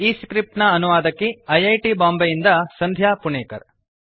ಈ ಸ್ಕ್ರಿಪ್ಟ್ ನ ಅನುವಾದಕಿ ಐ ಐ ಟಿ ಬಾಂಬೆಯಿಂದ ಸಂಧ್ಯಾ ಪುಣೆಕರ್